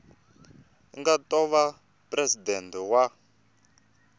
nga ta va presidente wa